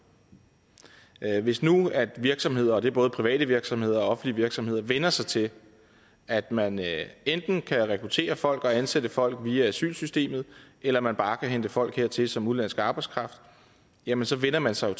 hvis nu virksomheder det er både private virksomheder og offentlige virksomheder vænner sig til at man enten kan rekruttere folk og ansætte folk via asylsystemet eller man bare kan hente folk hertil som udenlandsk arbejdskraft jamen så vænner man sig